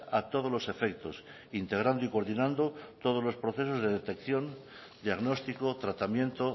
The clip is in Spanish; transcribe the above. a todos los efectos integrando y coordinando todos los procesos de detección diagnóstico tratamiento